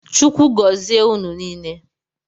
Chukwu gozie ụnụ niile.